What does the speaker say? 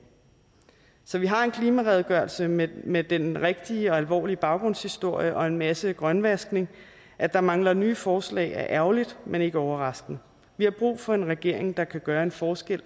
så vi har en klimaredegørelse med med den rigtige og alvorlige baggrundshistorie og en masse grønvaskning at der mangler nye forslag er ærgerligt men ikke overraskende vi har brug for en regering der kan gøre en forskel